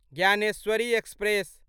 Dnyaneshwari express